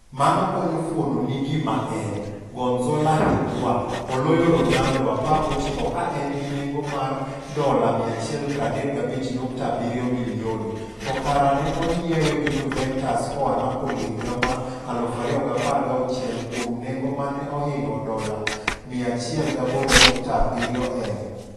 Mano konyo fuononi gima en. Gonzalo Higua? oloyo Ronaldo (19 ka en gi nengo mar $135,7 milioni), to kara ne onyiewe gi Juventus koa Napoli higa mar 2016 kuom nengo mane ohingo $108.1m.